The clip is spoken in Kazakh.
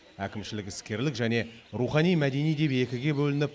әкімшілік іскерлік және рухани мәдени деп екіге бөлініп